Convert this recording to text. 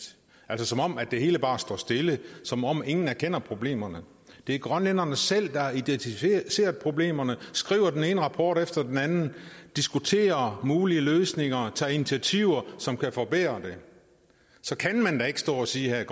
altså som om det hele bare står stille som om ingen erkender problemerne det er grønlænderne selv der har identificeret problemerne skriver den ene rapport efter den anden diskuterer mulige løsninger og tager initiativer som kan forbedre det så kan man da ikke stå og sige her at